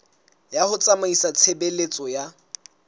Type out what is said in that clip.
ya ho tsamaisa tshebeletso ya